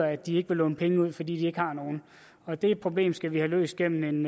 at de ikke vil låne penge ud fordi de ikke har nogen og det problem skal vi have løst gennem